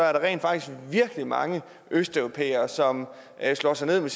er der rent faktisk virkelig mange østeuropæere som slår sig ned med